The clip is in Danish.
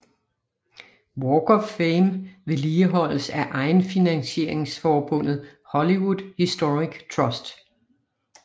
Walk of Fame vedligeholdes af egenfinansieringsforbundet Hollywood Historic Trust